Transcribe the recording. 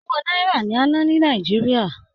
Owó náírà ni a n nà ni Nàìjíríà.